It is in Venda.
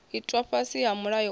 itwaho fhasi ha mulayo uyu